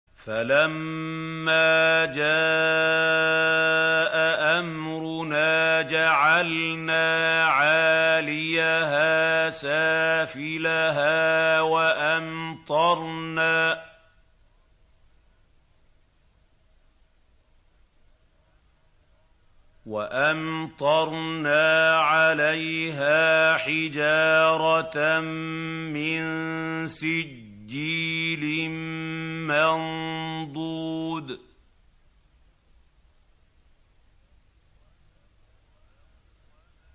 فَلَمَّا جَاءَ أَمْرُنَا جَعَلْنَا عَالِيَهَا سَافِلَهَا وَأَمْطَرْنَا عَلَيْهَا حِجَارَةً مِّن سِجِّيلٍ مَّنضُودٍ